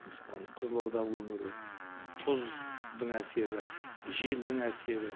мысалы ана қызылорда өңірі тұздың әсері желдің әсері